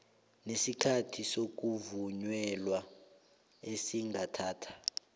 nesikhathi sokuvunyelwa esingathatha